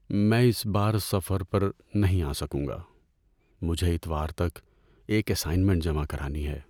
میں اس بار سفر پر نہیں آ سکوں گا۔ مجھے اتوار تک ایک اسائنمنٹ جمع کرانی ہے۔